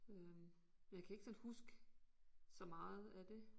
Øh jeg kan ikke sådan huske så meget af det